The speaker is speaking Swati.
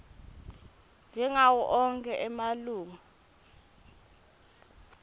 njengawo onkhe emalunga